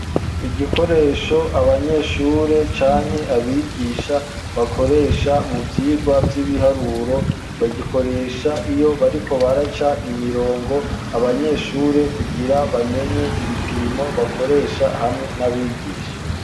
Igikoresho abanyeshure canke abigisha bakoresha mu vyigwa vy'ibiharuro bagikoresha iyo bariko baraca imirongo abanyeshure kugira bamenye ibipimo bakoresha hamwe n'abigisha.